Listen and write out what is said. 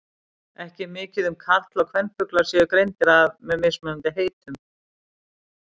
Ekki er mikið um að karl- og kvenfuglar séu greindir að með mismunandi heitum.